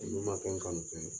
Olu ma kɛ n kanu fɛn ye